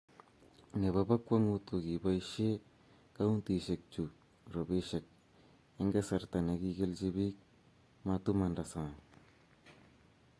nebo bokwong'ut ko, kiboisie kauntisiek chu robisiek eng' kasarta ne kikilenji biik matumang'da sang'